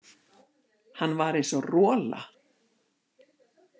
Hann var eins og rola.